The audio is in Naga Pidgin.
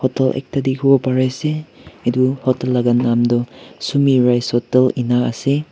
edu ekta dikhiwo parease edu hotel laka nam toh sumi rice hotel ase.